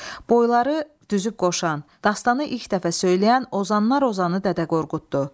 Boyları düzüb qoşan, dastanı ilk dəfə söyləyən Ozanlar Ozanı Dədə Qorquddur.